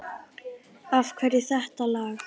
Af hverju þetta lag?